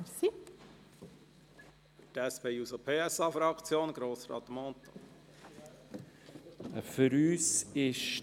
Für die SP-JUSO-PSA-Fraktion hat Grossrat Mentha das Wort.